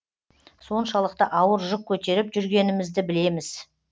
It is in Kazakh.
соншалықты ауыр жүк көтеріп жүргенімізді білеміз